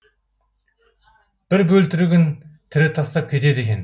бір бөлтірігін тірі тастап кетеді екен